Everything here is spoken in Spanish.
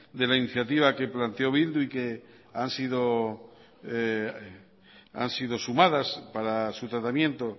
de la iniciativa que planteó bildu y que han sido sumadas para su tratamiento